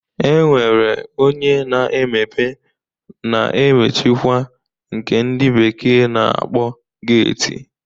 E nwere onye na-emepe na-emchikwa nke ndị bekee na-akpọ geeti